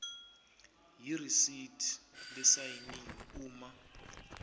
yeresithi lesayiniwe uma